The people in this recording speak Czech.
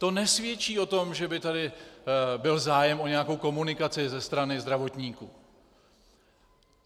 To nesvědčí o tom, že by tady byl zájem o nějakou komunikaci ze strany zdravotníků.